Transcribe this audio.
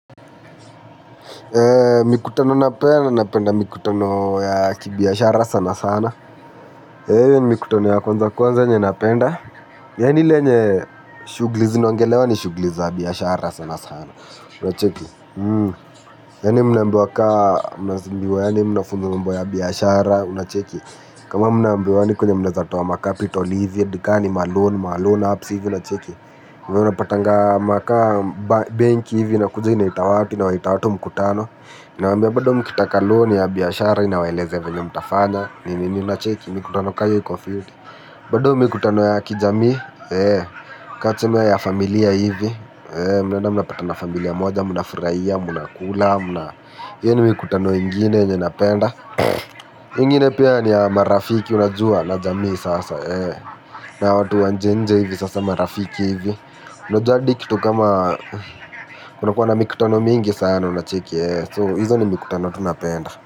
Jara sana sana hio ni mikutoni ya kwanza kwanza yenye napenda. Yaani ile yenye shughuli zinaongelewa ni shughuli za biashara sana sana. Unacheki. Yaani mnaambiwa kaa mnazimbiwa yaani mnafunzwa mambo ya biashara. Unacheki. Kama mnaambiwa yaani kwenye mnaeza toa makapitol hivi hadi ka ni maloan maloan apps hivi unacheki. Kwaivo unapatanga ma ka benki hivi inakuja inaita watu inawaita watu mkutano inawaambia bado mkitaka loan ya biashara inawaelezea venye mtafanya ni ni ni unacheki mikutano ka iyo iko fiti bado mikutano ya kijamii ka tuseme ya familia hivi mnaenda mnapatana familia moja mnafurahia mnakula hiyo ni mikutano ingine yenye napenda ingine pia ni ya marafiki unajua na jamii sasa na watu wa nje nje hivi sasa marafiki hivi najua hadi kitu kama kunakuwa na mikutano mingi sana unacheki so hizo ni mikutano tu napenda.